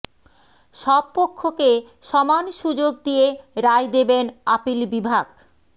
সব পক্ষকে সমান সুযোগ দিয়ে রায় দেবেন আপিল বিভাগ